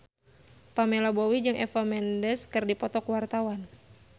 Pamela Bowie jeung Eva Mendes keur dipoto ku wartawan